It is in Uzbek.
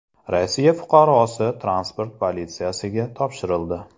Rossiya fuqarosi transport politsiyasiga topshirildi.